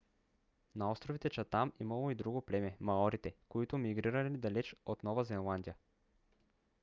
на островите чатам имало и друго племе - маорите които мигрирали далеч от нова зеландия